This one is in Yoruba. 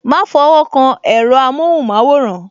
Ma fọwọ́ kan èro amohun maworan